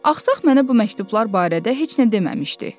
Axsaq mənə bu məktublar barədə heç nə deməmişdi.